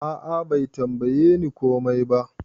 A'a Bai tambaye ni komai ba.